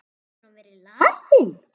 Hefur hann verið lasinn?